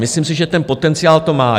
Myslím si, že ten potenciál to má.